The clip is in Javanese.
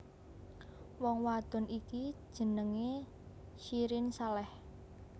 Wong wadon iki jenengé Syirin Saleh